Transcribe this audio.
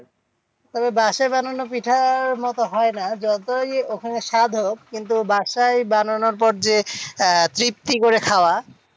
তবে বাসায় বানানো পিঠার মতো হয়না যতই ওখানে স্বাদ হোক কিন্তু বাসায় বানানোর পর যে তৃপ্তি করে খাওয়া,